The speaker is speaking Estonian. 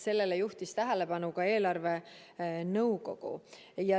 Sellele juhtis tähelepanu ka eelarvenõukogu.